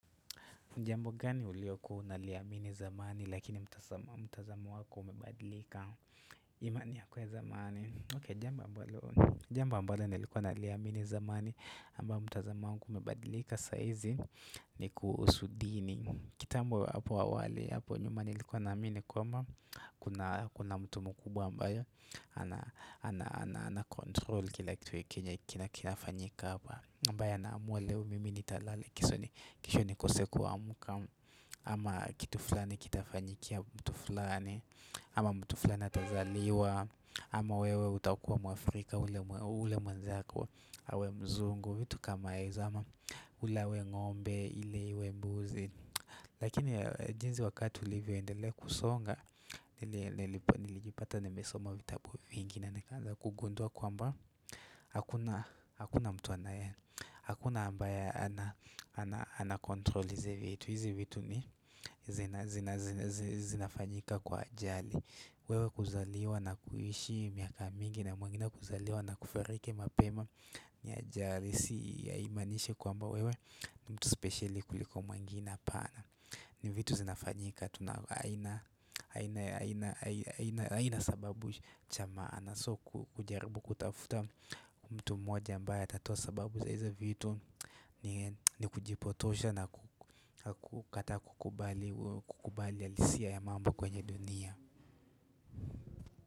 Jambo gani uliyokuwa unaliamini zamani lakini mtazamo matazamo wako umebadilika imani yako zamani jamba mbalo nilikuwa naliamini zamani ama mtazamo wangu umebadilika saa hizi ni kusudini kitambo hapo awali hapo nyuma nilikuwa naamini kwamba kuna mtu mkubwa ambayo ana ana ana control kila kitu kenye kinakinanafanyika ambaya anaamua leo mimi nitalala kesho ni keso kesho kuamka ama kitu flani kitafanyikia mtu flani ama mtu flani atazaliwa ama wewe utakuwa mwafrika ule mwanzako awe mzungu vitu kama hizo ama ule awe ngombe ili iwe mbuzi Lakini jinsi wakati ulivyoendelea kusonga Nili nilipo nilijipata nimesoma vitabu vingi na Nikaanza kugundua kwamba Hakuna mtu anayena Hakuna ambaye ana control hizi vitu hizi vitu zinafanyika kwa ajali wewe kuzaliwa na kuishi miaka mingi na mwengine kuzaliwa na kufariki mapema ni ajali si haimaniishi kwamba wewe mtu spesheli kuliko mwingine hapana ni vitu zinafanyika Tunao aina aina ya aina aina aina sababu chamaana So kujaribu kutafuta mtu mmoja ambaye atatoa sababu zaizo vitu ni ni kujipotosha na kuku kukata kukubali kukubali halisia ya mambo kwenye dunia.